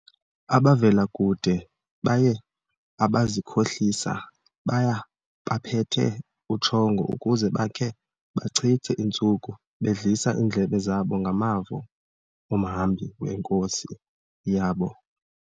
Abavela kude baye abazikhohlisa, baya bephethe utshongo ukuze bakhe bachithe iintsuku bedlisa iindlebe zabo ngamavo omhambi wenkosi yabo.